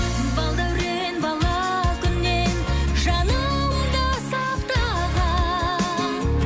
балдаурен бала күннен жанымда сақтаған